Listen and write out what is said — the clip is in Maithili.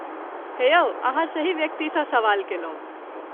हे यौ, अहाँ सही व्यक्तिसँ सवाल कैलहुँ।